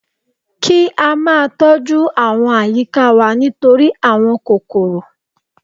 Kí á ma tọ́ jú àwọn àyíká wa nítorí àwọn kòròkò